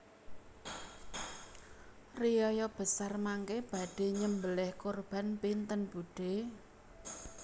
Riyaya besar mangke badhe nyembeleh kurban pinten budhe